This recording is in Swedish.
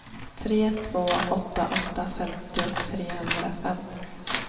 tre två åtta åtta femtio trehundrafem